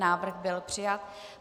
Návrh byl přijat.